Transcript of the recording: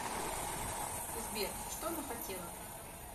сбер что она хотела